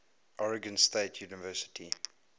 oregon state university